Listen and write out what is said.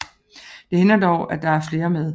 Det hænder dog at der er flere med